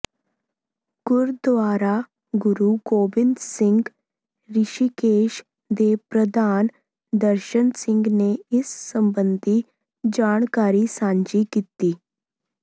ਗੁਰਦਆਰਾ ਗੁਰੂ ਗੋਬਿੰਦ ਸਿੰਘ ਰਿਸ਼ੀਕੇਸ਼ ਦੇ ਪ੍ਰਧਾਨ ਦਰਸ਼ਨ ਸਿੰਘ ਨੇ ਇਸ ਸਬੰਧੀ ਜਾਣਕਾਰੀ ਸਾਂਝੀ ਕੀਤੀ